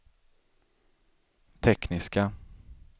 tekniska